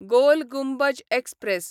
गोल Gumbaz express